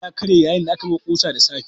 Hamma ya karye yayin da ake buga kusa da safe.